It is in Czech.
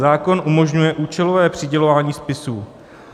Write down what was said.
Zákon umožňuje účelové přidělování spisů.